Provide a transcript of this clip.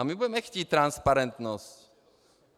A my budeme chtít transparentnost.